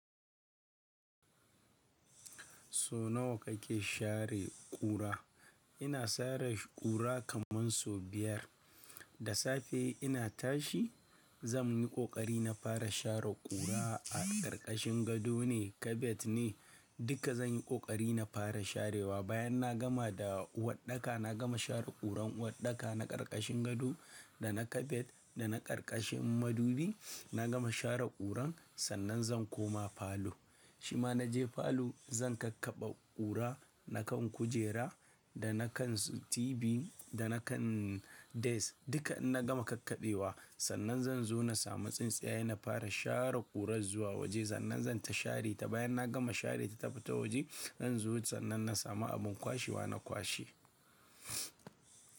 So nawa kake share ƙura? Ina share ƙura kaman sau biyar. Da safe ina tashi, zan yi ƙoƙari na fara share ƙura a ƙarƙashin gado ne, kabet ne duka zan yi ƙoƙari na fara sharewa. Bayan na gama da uwaɗɗaka, na gama share ƙuran uwaɗɗaka na ƙarƙashin gado da na kabet da na ƙarƙashin madubi, na gama share ƙuran sannan zan koma falo. Shima na je falo zan kakkaɓe ƙura na kan kujera da na kan TV da na kan desk duka in na gama kakkaɓewa sannan zan zo na samu tsintsiyaye na fara share ƙuran zuwa waje sannan zan ta share ta. Bayan na gama share ta tafi ta waje zan zo sannan na samu abin kwashiwa na kwashe.